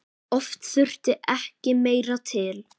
Oft þurfti ekki meira til.